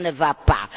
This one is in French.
Cela ne va pas.